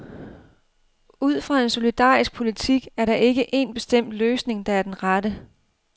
Ud fra en solidarisk politik er der ikke en bestemt løsning, der er den rette.